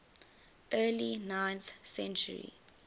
early ninth century